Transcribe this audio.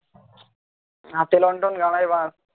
হাতে লণ্ঠন বাঁশ